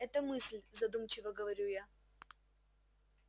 это мысль задумчиво говорю я